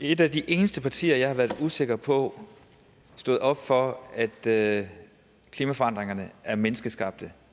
et af de eneste partier som jeg har været usikker på står op for at klimaforandringerne er menneskeskabte